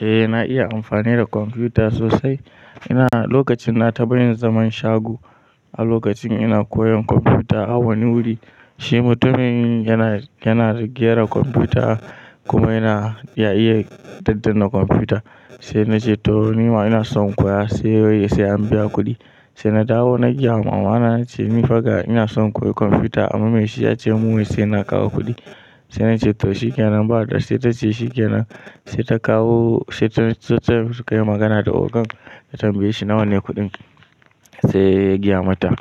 Eh na iya amfani da kwamfuta sosai. Ina lokacin nata daina zaman shago a lokacin ina koyan kwamfuta a wani wuri. Shi mutumin yana, yana gyara kwamfuta kuma yana, ya iya ɗaddanna kwamfuta. Sai na ce toh nima ina son in koya, sai ya ce sai an biya kuɗi. Sai na dawo na gaya wa mamana, na ce nifa ga ina son koyi kwamfuta, amma mai shi ya ce mun wai sai na kawo kuɗi. Sai na ce to shikenan ba. Sai ta ce shikenan. Sai ta kawo, sai sukayi magana da ogan ta tambaye shi nawa ne kuɗin. Sai ya gaya mata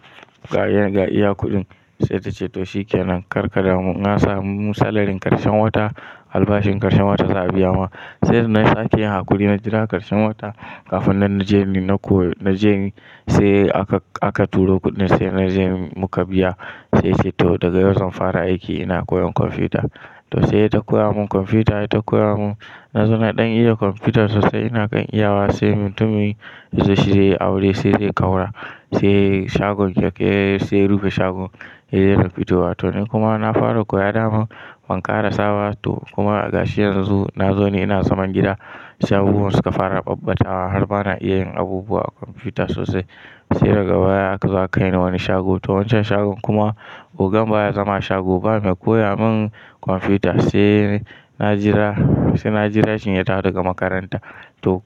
ga iya kuɗin. Sai ta ce to shikenan karka damu in an samu mu salarin ƙarshen wata, albashin ƙarshen wata za a biya wa. Sai na sake yi wa kuɗi na jira ƙarshen wata kafin nan na je ni na koyi. Na je ni sai aka, aka turo kuɗin sai na je muka biya. Sai yace toh daga yau zan fara aiki ina koyan kwamfuta. To sai yata koya mun kwamfuta, yata koya mun. Na zo na ɗan iya kwamfuta sosai ina kan iyawa sai mutumin yazo shi zai aure sai zai ƙaura, sai shagon keke, sai rufin shagon, ya dai fito wa. To ni kuma na fara koya da man, ban ƙarasaba. Toh kuma a gashi yanzu nazo ni ina zaman gida, sai abubuwan suka fara ɓabbatawa har ba na iya yin abubuwa a kwamfuta sosai. Sai daga baya aka zo aka kai ni wani shago. To wancan shagon kuma ogan baya zama a shago ba, mai koya mun kwamfuta. Sai na jira, sai na jira shi ya dawo daga makaranta. To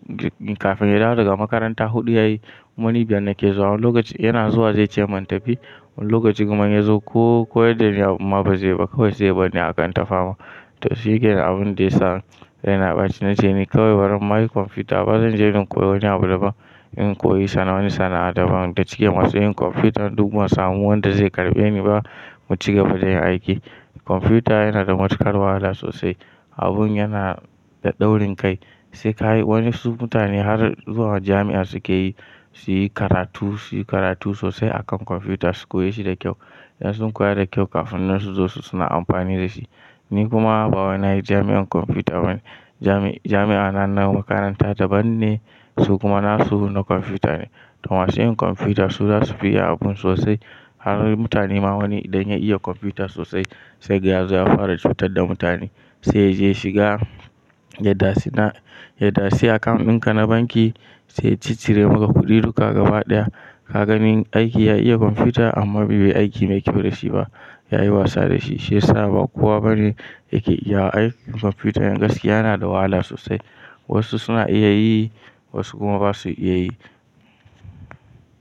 kafin ya dawo daga makaranta huɗu ya yi, kuma ni biyar nake zuwa. Wani lokacin yana zuwa zai ce mun tafi, wani lokaci kuma in yazo ko koyar da ni abun ma ba zai yiba, kawai sai ya bar ni haka in ta fama. To shikenan abun da yasa yana ɓaci. Na ce ne kawai baran na yi kwamfuta ba zan je in koyi wani abu daban. In koyi wani sana'a daban da cikin masu yin kwamfuta duk ban samu wanda zai karɓe ni ba. Mu ci gaba da yin aiki. Kwamfuta yana da matuƙar wahala sosai. Abun yana da daurin kai. Sai ka yi wasu mutane har zuwa jami'a suke yi, su yi karatu, su yi karatu sosai akan kwamfuta su koye shi da kyau. In sun koya da kyau kafin nan su zo su suna amfani da shi. Ni kuma baya na yi jami'an kwamfuta ba ne. Jami'a na nan makaranta daban ne, su kuma nasu na kwamfuta ne. Toh masu yin kwamfuta su za su fi iya abun sosai. Har mutane ma wani idan ya iya kwamfuta sosai sai kaga yazo ya fara cutar da mutane. Sai ya je ya shiga yadatsi, yadatsi account ɗin ka na banki sai ya ciccire maka kuɗi duka gaba ɗaya. Ka gani aiki ya iya kwamfuta amma bai yi aiki mai kyau da shi ba. Ya yi wasa da shi. Shi yasa ba kowa bane yake iya aiki. Kwamfuta gaskiya yana da wahala sosai. Wasu suna iya yi, wasu kuma ba su iya yi.